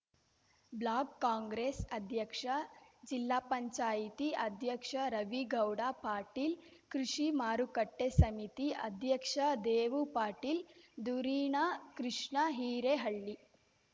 block Congress ಅಧ್ಯಕ್ಷ ಜಿಲ್ಲಾಪಂಚಾಯತಿ ಅಧ್ಯಕ್ಷ ರವಿಗೌಡ ಪಾಟೀಲ್ ಕೃಷಿ ಮಾರುಕಟ್ಟೆ ಸಮಿತಿ ಅಧ್ಯಕ್ಷ ದೇವು ಪಾಟೀಲ್ ದುರೀಣ ಕೃಷ್ಣ ಹಿರೇಹಳ್ಳಿ